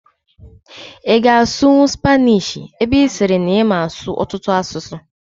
Ị ga-asụnwu Spaanish ebe ị sịrị na ịma asụ ọtụtụ asụsụ?